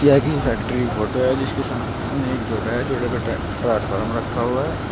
यह किसी फैक्ट्री की फोटो है जिसके सामने एक जोड़ा है जोड़े पे ट्रांसफार्मर रखा हुआ है।